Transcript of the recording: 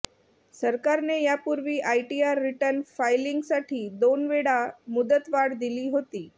सरकारने यापूर्वी ITR return फायलिंगसाठी दोनवेळा मुदतवाढ दिली होती